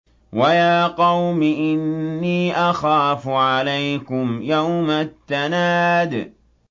وَيَا قَوْمِ إِنِّي أَخَافُ عَلَيْكُمْ يَوْمَ التَّنَادِ